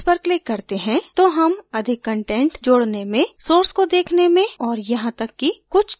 जब हम इस पर click करते हैं तो हम अधिक कंटेंट जोडने में source को देखने में और यहाँ तक कि कुछ text को bold करने में सक्षम होते हैं